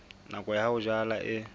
nako ya ho jala e